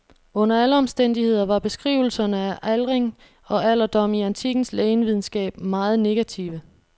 Under alle omstændigheder var beskrivelserne af aldring og alderdom i antikkens lægevidenskab meget negative.